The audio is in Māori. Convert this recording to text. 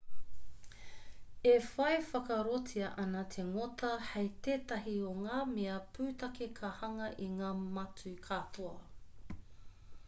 e whai whakaarotia ana te ngota hei tētahi o ngā mea pūtake ka hanga i ngā matū katoa